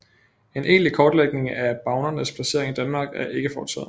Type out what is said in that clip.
En egentlig kortlægning af bavnernes placering i Danmark er ikke foretaget